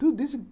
Tudo isso.